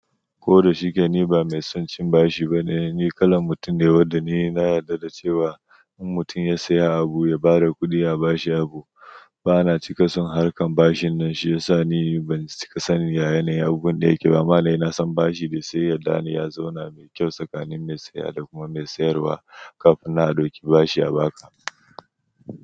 Ko da shike ni ba mai son cin bashi bane, ni kalan mutum ne wanda ni na yarda da cewa in mutum ya saya abu ya bada kudi a bashi abu. Ba na cika son harkan bashin nan shi ya sa ni ban cika sani da yanayin abun da yake ba. Amma na yi nasan bashi dai sai yadda ne ya zauna mai kyau tsakanin mai saya da kuma mai sayarwa kafin na dauki bashi a baka.